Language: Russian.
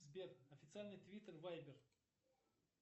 сбер официальный твиттер вайбер